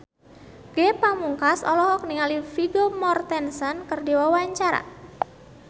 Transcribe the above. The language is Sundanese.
Ge Pamungkas olohok ningali Vigo Mortensen keur diwawancara